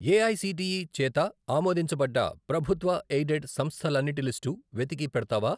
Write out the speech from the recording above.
AICTE చేత ఆమోదించబడ్డ ప్రభుత్వ ఎయిడెడ్ సంస్థలన్నిటి లిస్టు వెతికి పెడతావా?